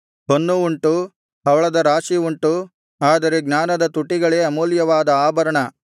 ಹೊನ್ನು ಉಂಟು ಹವಳದ ರಾಶಿ ಉಂಟು ಆದರೆ ಜ್ಞಾನದ ತುಟಿಗಳೇ ಅಮೂಲ್ಯವಾದ ಆಭರಣ